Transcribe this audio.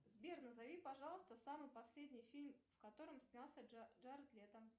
сбер назови пожалуйста самый последний фильм в котором снялся джаред лето